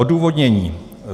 Odůvodnění.